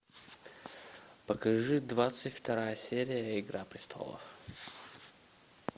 покажи двадцать вторая серия игра престолов